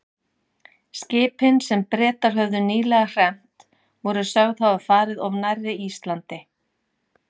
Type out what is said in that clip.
Skipin, sem Bretar höfðu nýlega hremmt, voru sögð hafa farið of nærri Íslandi.